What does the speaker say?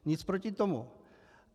Nic proti tomu.